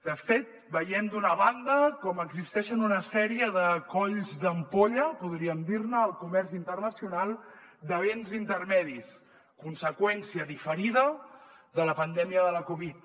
de fet veiem d’una banda com existeixen una sèrie de colls d’ampolla podríem dir ne al comerç internacional de béns intermedis conseqüència diferida de la pandèmia de la covid